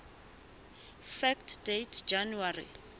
fact date january